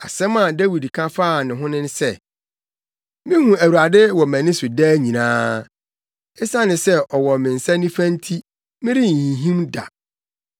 Asɛm a Dawid ka faa ne ho ne sɛ, “Mihu Awurade wɔ mʼani so daa nyinaa. Esiane sɛ ɔwɔ me nsa nifa nti, merenhinhim da.